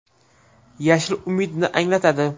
Yashil umidni anglatadi.